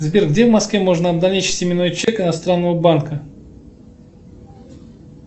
сбер где в москве можно обналичить именной чек иностранного банка